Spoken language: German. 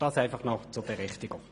Dies zur Berichtigung.